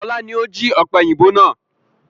Ọlá ni ó jí ọ̀pẹ̀yìnbo náà